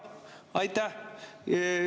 Aitäh!